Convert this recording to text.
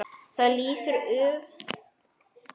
Þar líður öllum vel.